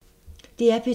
DR P2